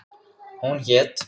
Hún hét